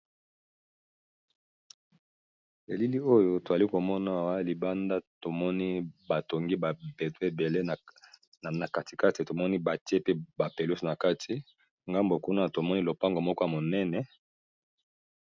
elili oyo toali komonawa libanda tomoni batongi babeto ebele na katikati tomoni batie pe bapeluse na kati ngambo kuna tomoni lopango moko ya monene